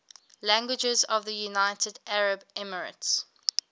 languages of the united arab emirates